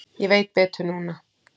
Ég veit betur núna.